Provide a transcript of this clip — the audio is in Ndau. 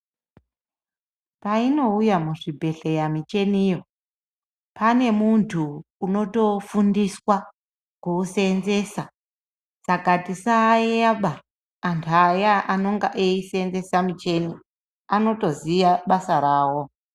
Painouya muzvibhedhleya michiniyo pane munthu unotofundiswa kuuseenzesa saka tisayeyaba anthu aya anenge eisenzesa michini anotoziya basa rawo.